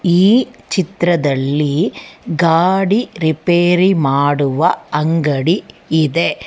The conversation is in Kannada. ಈ ಚಿತ್ರದಲ್ಲಿ ಗಾಡಿ ರಿಪೇರಿ ಮಾಡುವ ಅಂಗಡಿ ಇದೆ.